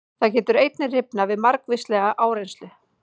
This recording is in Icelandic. Það getur einnig rifnað við margvíslega áreynslu.